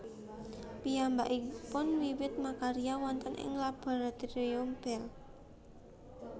Piyambakipun wiwit makarya wonten ing Laboratorium Bell